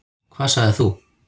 Hvað sagðir þú?